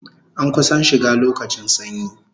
An kusan shiga lokacin sanyi